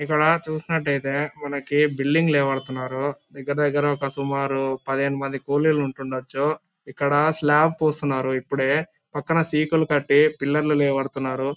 ఇక్కడ చూసినట్లయితే మనకి బిల్డింగ్ లేవబడుతున్నారు. దగ్గర దగ్గర ఒక సుమారు పదిహేను మంది కూలీలు ఉంటుండొచ్చు. ఇక్కడ స్లాబ్ పోస్తున్నారు ఇప్పుడే. పక్కన సీకులు కట్టి పిల్లర్ లు లేవబడుతున్నారు.